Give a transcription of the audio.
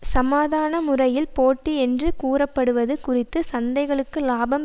சமாதான முறையில் போட்டி என்று கூறப்படுவது குறித்து சந்தைகளுக்கு லாபம்